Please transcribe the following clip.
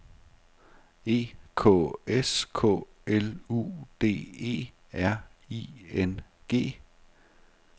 E K S K L U D E R I N G